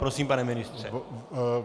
Prosím, pane ministře.